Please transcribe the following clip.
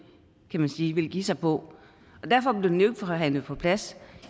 kan man sige ville give sig på og derfor blev den jo ikke forhandlet på plads